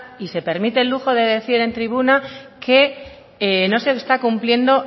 y se permite el lujo de decir en tribuna que no se está cumpliendo